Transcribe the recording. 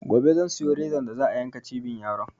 Gobe zan siyo rezan da za a yanka cibin yaro